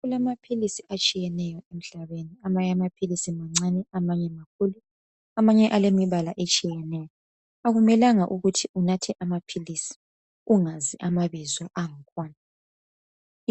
Kulamaphilisi atshiyatshiyeneyo emhlabeni amanye amaphilisi mancane amanye kakhulu amanye alemibala etshiyeneyo. Akumelanga unathe amaphilisi ungazi amabizo angkhona.